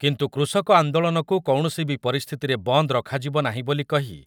କିନ୍ତୁ କୃଷକ ଆନ୍ଦୋଳନକୁ କୌଣସି ବି ପରିସ୍ଥିତିରେ ବନ୍ଦ ରଖାଯିବ ନାହିଁ ବୋଲି କହି